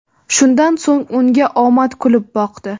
Shundan so‘ng unga omad kulib boqdi.